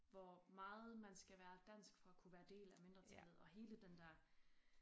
Hvor meget man skal være dansk for at kunne være del af mindretallet og hele den der